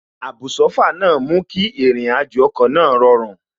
Àbùsófà náà mú kí àrìnàjò ọkọ̀ náà rọrùn